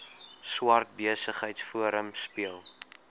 swart besigheidsforum speel